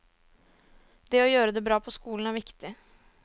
Det å gjøre det bra på skolen er viktig.